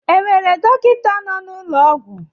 E nwere dọkịta nọ n'ụlọ ọgwụ?